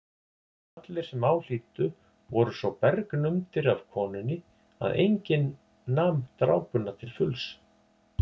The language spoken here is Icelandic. Allir sem á hlýddu voru svo bergnumdir af konunni að enginn nam drápuna til fulls.